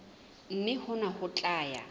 mme hona ho tla ya